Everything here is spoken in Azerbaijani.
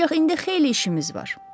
Ancaq indi xeyli işimiz var.